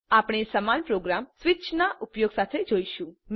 આપણે સમાન program switch ના ઉપયોગ સાથે જોઈશું